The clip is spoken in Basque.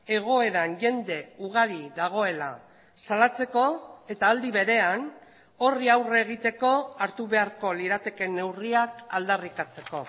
egoeran jende ugari dagoela salatzeko eta aldi berean horri aurre egiteko hartu beharko liratekeen neurriak aldarrikatzeko